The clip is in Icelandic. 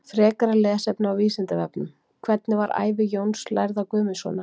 Frekara lesefni á Vísindavefnum: Hvernig var ævi Jóns lærða Guðmundssonar?